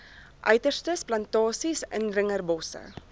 uiterstes plantasies indringerbosse